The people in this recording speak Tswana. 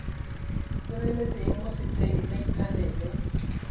tseneletseng mo setsheng sa inthanete